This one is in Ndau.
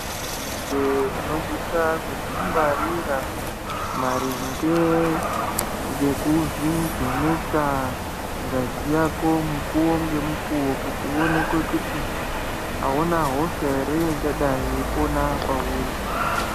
Muntu njee unosiso kuzvingwarira maringe ngekuzvivheneka ngazi yako mukuwo nemukuwo kuti uonekwe kuti hauna hosha here ingadai yeipona mauuri.